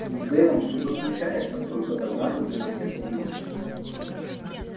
ведь с дейвом что-то случается только тогда когда нас нет поблизости